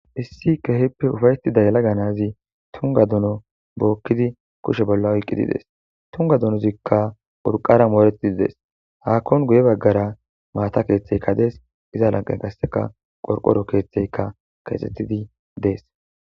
Issi keehippe ufayththida yelaga na7azi thungga duno bookkidi kushe bolla oyqqidi des; thunga dunozikka urqara mooreththidi des; haakkon guye baggara maatha keeththeykka dees; iza lanqqe gasseka qorqoro keeththeykka keexxeththidi des.